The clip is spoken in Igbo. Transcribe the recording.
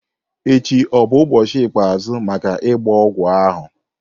echi ọ bụ ụbọchị ikpeazụ maka ịgba ogwu ahụ?